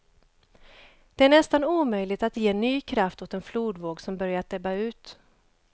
Det är nästan omöjligt att ge ny kraft åt en flodvåg som börjat ebba ut.